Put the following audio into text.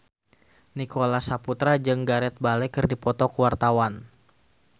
Nicholas Saputra jeung Gareth Bale keur dipoto ku wartawan